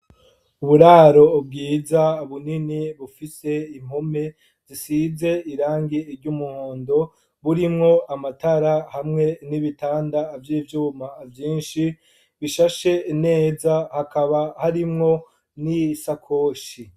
Muburaro bwiza bunini bifise impome zisize irangi ry'umuhondo burimwo amatara hamwe nibitanda by'ivyuma vyinshi bishashe neza Hakaba harimwo nisakoshi.